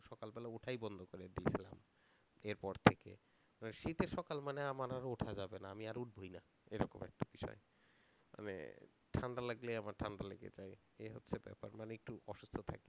সকালবেলা ওঠাই বন্ধ করে দিয়েছিলাম, এরপর থেকে, এবার শীতের সকাল মানে আমার আর উঠা যাবে না আমি আর উঠবোই না, এরকম একটা বিষয় মানে ঠান্ডা লাগলেই আমার ঠান্ডা লেগে যায়, এই হচ্ছে ব্যাপার মানে একটু